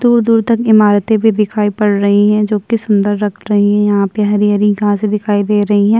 दूर-दूर तक इमारतें भी दिखाई पड़ रहीं हैं जोकि सुंदर लग रहीं हैं। यहाँ पे हरी-हरी घास दिखाई दे रही हैं।